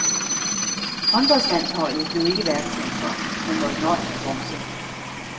Håndboldlandsholdet blev ikke verdensmestre, men måtte nøjes med bronze.